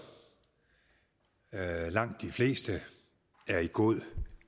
hvoraf langt de fleste er i god